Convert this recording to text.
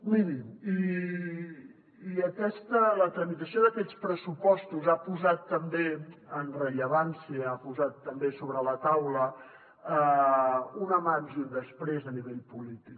miri i la tramitació d’aquests pressupostos ha posat també en rellevància ha posat també sobre la taula un abans i un després a nivell polític